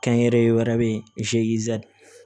Kɛnyɛrɛye wɛrɛ be yen